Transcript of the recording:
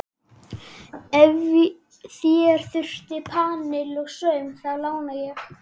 Og ef þér þurfið panil og saum, þá lána ég.